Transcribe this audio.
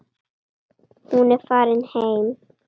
Hún er farin heim.